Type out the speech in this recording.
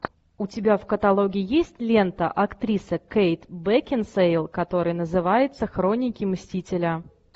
у тебя в каталоге есть лента актриса кейт бекинсейл который называется хроники мстителя